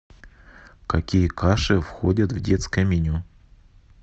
какие каши входят в детское меню